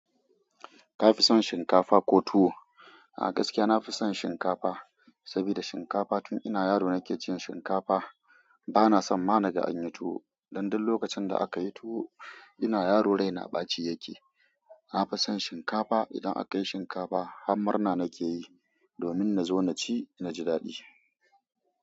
Ka fi son shinkafa ko tuwo? A gaskiya na fi son shinkafa, saboda shinkafa tun ina yaro nake cin shinkafa. Bana son ma na ga an yi tuwo, don duk lokacin da aka yi tuwo ina yaro raina ɓaci yake. Na fi son shinkafa, idan aka yi shinkafa har murna nake yi, domin na zo na ci, na ji daɗi.